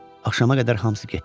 Axşama qədər hamısı getdi.